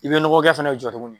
I bɛ nɔgɔkɛ fana jɔ tuguni.